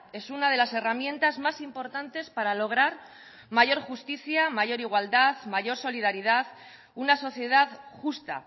es una de las herramientas más importantes para lograr mayor justicia mayor igualdad mayor solidaridad una sociedad justa